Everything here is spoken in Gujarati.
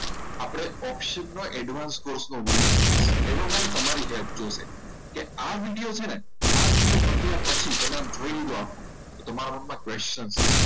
આપણે option નો advanced course વિડીયો મુકીશું એમાં મારે તમારી help જોઈશે કે આ video છે ને આ વિડીયો પત્યા પછી તમે જોઈ લો તો તમારા મનમાં question છે